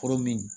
Foro min